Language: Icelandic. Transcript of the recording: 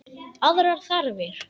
Aðrar þarfir.